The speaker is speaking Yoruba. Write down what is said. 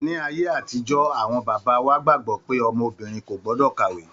Ní ayé àtijọ́ awọn bàbá wa gbàgbọ́ pé ọmọ obìnrin kò gbọ́dọ̀ kàwé.